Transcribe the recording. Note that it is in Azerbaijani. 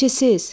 Nəçisiz?